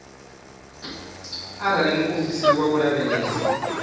arali muofisiri wa u lavhelesa